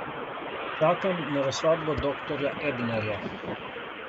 Čakam na razsodbo doktorja Ebnerja.